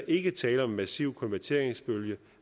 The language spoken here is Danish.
ikke tale om en massiv konverteringsbølge